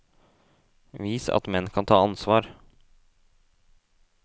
Vis at menn kan ta ansvar.